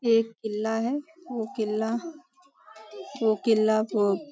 यह एक किल्ला है वो किल्ला वो किल्ला --